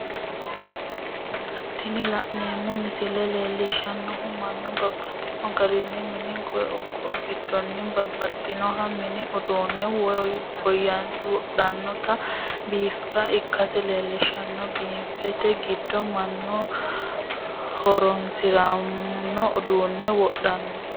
Tini la'neemo misile leellishanohu mannu babaxxino garinni mini gidoonni babaxinoha mini uduune wodhanotta biffe ikkase leellishanno, biffete gido manu horonsiranmo uduune wodhano